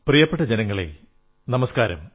പ്രിയപ്പെട്ട ജനങ്ങളേ നമസ്കാരം